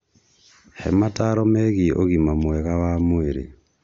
He mataro megiĩ ũgima mwega wa mwĩrĩ.